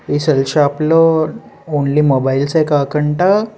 ఈ cell shop లో only mobiles ఏ కాకుండా --